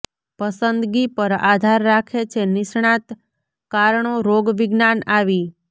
પસંદગી પર આધાર રાખે છે નિષ્ણાત કારણો રોગવિજ્ઞાન આવી